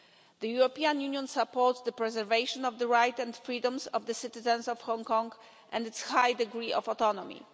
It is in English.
The European Union supports the preservation of the rights and freedoms of the citizens of Hong Kong and its high degree of autonomy.